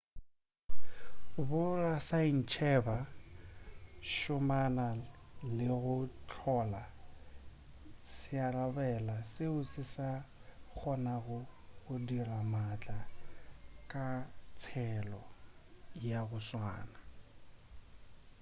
borasaentsheba šomana le go hlola searabela seo se ka kgonago go dira maatla ka tsela ya go tswana